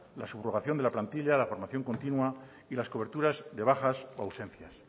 la subrogación de la plantilla la formación continua y las coberturas de bajas o ausencias